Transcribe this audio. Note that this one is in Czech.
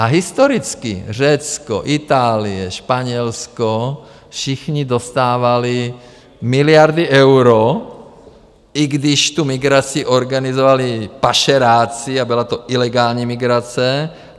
A historicky Řecko, Itálie, Španělsko - všichni dostávali miliardy eur, i když tu migraci organizovali pašeráci a byla to ilegální migrace.